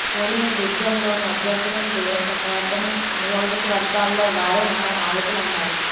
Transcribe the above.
ఓడిన డివిజన్లోని అభ్యర్థులను దూరం పెట్టవద్దని ఆనియోజకవర్గాల్లో వారే మన నాయకులన్నారు